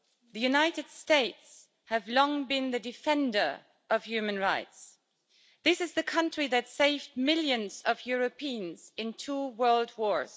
The United States have long been the defender of human rights. This is the country that saved millions of Europeans in two world wars